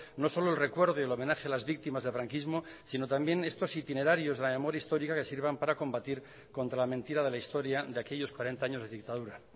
no solo el recuerdo y el homenaje a las víctimas del franquismo sino también estos itinerarios de la memoria histórica que sirvan para combatir contra la mentira de la historia de aquellos cuarenta años de dictadura